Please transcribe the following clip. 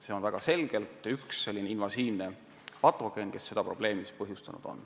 See on selge näide ühe invasiivse patogeeni kohta, kes probleemi on põhjustanud.